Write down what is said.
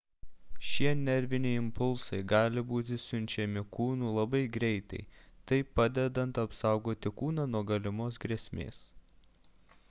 šie nerviniai impulsai gali būti siunčiami kūnu labai greitai taip padedant apsaugoti kūną nuo galimos grėsmės